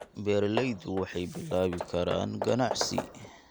Beeraleydu waxay bilaabi karaan ganacsi.